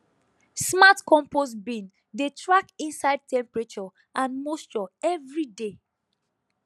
smart compost bin dey track inside temperature and moisture every day